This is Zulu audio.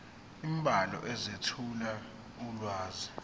imibhalo ezethula ulwazi